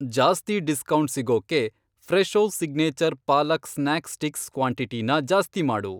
ಜಾಸ್ತಿ ಡಿಸ್ಕೌಂಟ್ ಸಿಗೋಕ್ಕೆ Fresho signature palak snack sticks ಕ್ವಾಂಟಿಟಿನ ಜಾಸ್ತಿ ಮಾಡು.